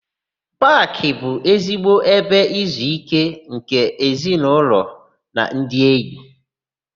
Paakị bụ ezigbo ebe izuíké nke ezinaụlọ na ndị enyi.